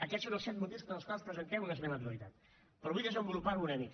aquests són els set motius pels quals presentem una esmena a la totalitat però vull desenvolupar ho una mica